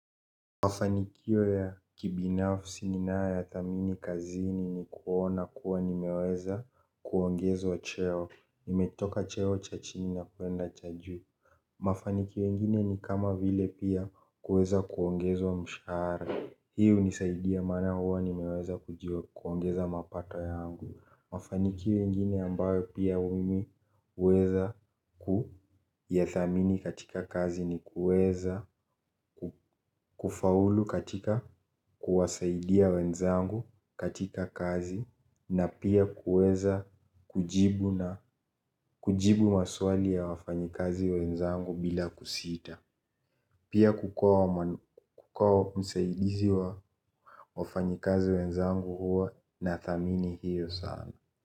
Mafanikio ya kibinafsi ninayoyathamini kazini ni kuona kuwa nimeweza kuongezwa cheo. Nimetoka cheo cha chini na kuenda cha juu. Mafanikio ingine ni kama vile pia kuweza kuongezwa mshara. Hii hunisaidia maana huwa nimeweza kuongeza mapato yangu. Mafanikio ingine ambayo pia mimi huweza kuyathamini katika kazi ni kuweza kufaulu katika kuwasaidia wenzangu katika kazi. Na pia kuweza kujibu maswali ya wafanyikazi wenzangu bila kusita. Pia kukua msaidizi wa wafanyikazi wenzangu huwa nathamini hiyo sana.